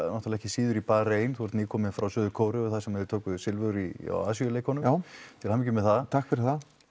ekki síður í Barein þú ert nýkominn frá Suður Kóreu þar sem þið tókuð silfur á Asíuleikunum til hamingju með það takk fyrir